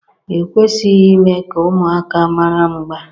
e kwesịghị ime ka ụmụaka mara mgba